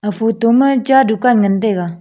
aga photo ma cha dukan ngan taiga.